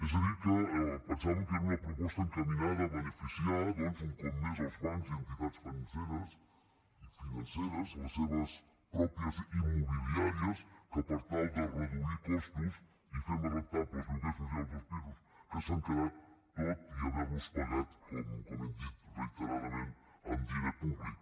és a dir que pensàvem que era una proposta encaminada a beneficiar un cop més els bancs i entitats financeres les seves pròpies immobiliàries que per tal de reduir costos i fer més rendibles els lloguers socials dels pisos que s’han quedat tot i haver los pagat com hem dit reiteradament amb diner públic